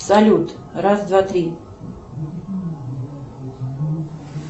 салют раз два три